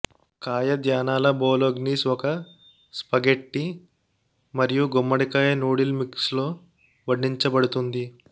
కాయధాన్యాల bolognese ఒక spaghetti మరియు గుమ్మడికాయ నూడిల్ మిక్స్లో వడ్డించబడుతుంది